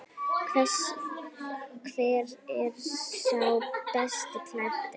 Hver er sá best klæddi?